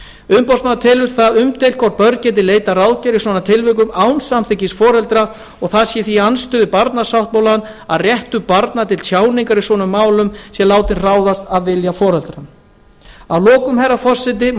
umboðsmaður telur það umdeilt hvort börn geti leitað ráðgjafar í svona tilvikum án samþykkis foreldra og það sé því í andstöðu við barnasáttmálann að réttur barna til tjáningar í svona málum sé látinn ráðast af vilja foreldra að lokum herra forseti má